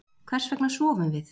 hvers vegna sofum við